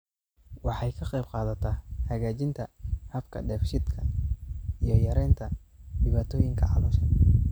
Waxay ka qaybqaadataa hagaajinta habka dheef-shiidka iyo yaraynta dhibaatooyinka caloosha.